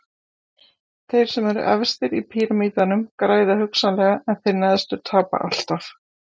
þeir sem eru efstir í píramídanum græða hugsanlega en þeir neðstu tapa alltaf